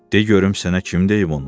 De görüm sənə kim deyib onu?